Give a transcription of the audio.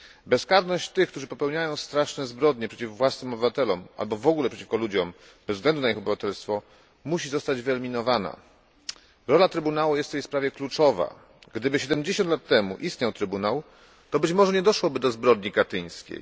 Bezkarność tych, którzy popełniają straszne zbrodnie przeciw własnym obywatelom i innym ludziom bez względu na ich obywatelstwo, musi zostać wyeliminowana. Rola Trybunału jest w tej sprawie kluczowa. Gdyby 70 lat temu istniał trybunał, to być może nie doszło by do zbrodni katyńskiej.